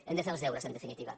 hem de fer els deures en definitiva